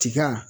Tiga